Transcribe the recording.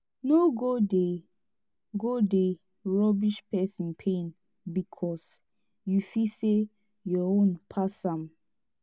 no go dey go dey rubbish pesin pain bikos yu feel sey yur own pass am